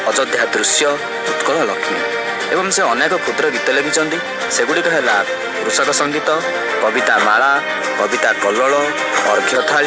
ଅଯୋଧ୍ୟ୍ୟ ଦୃଶ୍ୟ ଉତ୍କଳ ଲକ୍ଷ୍ମୀ ଏବଂ ସେ ଅନେକ ଖୁଦ୍ର ଗୀତ ଲେଖିଛନ୍ତି ସେଗୁଡିକ ହେଲା କୃଷକ ସଂଗୀତ କବିତାମାଳା କବିତାକଲଳ ଅରକ୍ଷଥାଳି।